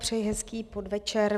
Přeji hezký podvečer.